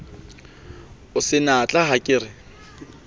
o senatla ha ke re